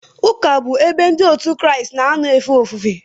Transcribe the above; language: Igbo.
Ụlọụka bụ ebe Ndị Kraịst na-anọ efe ofufe.